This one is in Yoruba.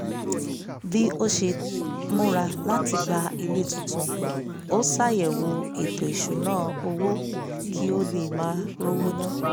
bí ó ṣe múra láti gba ilé tuntun ó ṣàyẹ̀wò ètò ìṣúnná owó kí ó lè má r'ówó ná